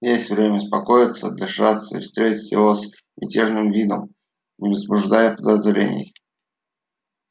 есть время успокоиться отдышаться и встретить его с безмятежным видом не возбуждая подозрений